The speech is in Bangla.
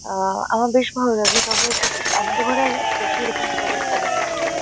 আ আমার বেশ ভালো লাগে। তবে বেশি আমাদের ঘরে বেশি এরকম ছোট ছোট তেলাপিয়া আসে না।